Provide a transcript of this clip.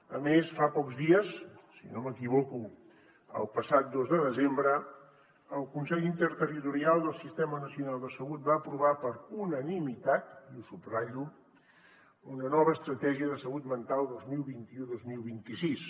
a més fa pocs dies si no m’equivoco el passat dos de desembre el consell interterritorial del sistema nacional de salut va aprovar per unanimitat i ho subratllo una nova estratègia de salut mental dos mil vint u dos mil vint sis